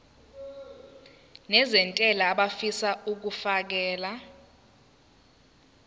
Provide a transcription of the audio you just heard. nezentela abafisa uukfakela